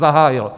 Zahájilo.